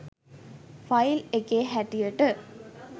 file එකේ හැටියට